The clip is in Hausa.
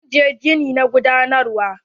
Zan je gini na gudanarwa.